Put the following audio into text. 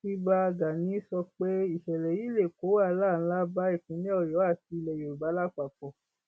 ibà gani sọ pé ìṣẹlẹ yìí lè kó wàhálà ńlá bá ìpínlẹ ọyọ àti ilẹ yorùbá lápapọ